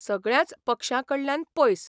सगळ्यांच पक्षांकडल्यान पयस.